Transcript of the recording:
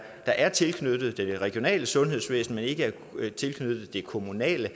er tilknyttet det regionale sundhedsvæsen men ikke er tilknyttet det kommunale